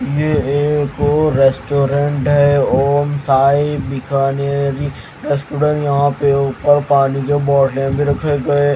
यह एक रेस्टोरेंट है ओम साई बिखा -नेरी रेस्टोरेंट यहां पे ऊपर पानी के बोतल भी रखे गए ।